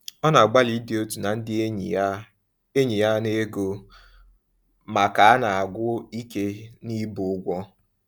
Ọ na-agbalị ịdị otu na ndị enyi ya enyi ya n’ego, ma ka na-agwụ ike n’ibu ụgwọ.